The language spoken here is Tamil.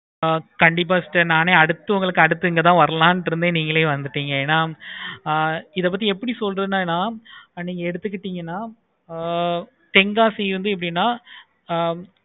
கண்டிப்பா sister நானே அடுத்து உங்களுக்கு அடுத்து உங்களுக்கு இங்க தான் வரலாம் இருந்தேன் நீங்களே வந்துட்டீங்கன்னா இத பத்தி எப்படி சொல்றதுன்னா அத எடுத்துட்டீங்கனா ஆஹ் தென்காசியில் இருந்து எப்படின்னு ஆஹ்